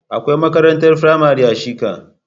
Akwai makarantar firamare a shika.